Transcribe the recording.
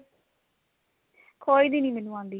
ਖੋਏ ਦੀ ਨੀ ਮੈਨੂੰ ਆਂਦੀ